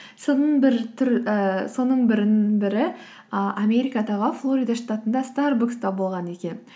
соның бірі і америкадағы флорида штатында старбакста болған екен